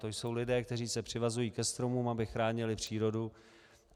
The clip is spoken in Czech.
To jsou lidé, kteří se přivazují ke stromům, aby chránili přírodu.